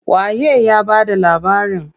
Waye ya bada labarin?